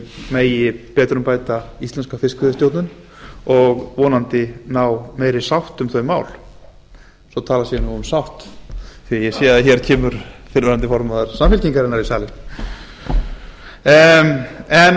megi betrumbæta íslenska fiskveiðistjórn og vonandi ná meiri sátt um þau mál svo að talað sé um sátt því að ég sé að hér kemur fyrrverandi formaður samfylkingarinnar í salinn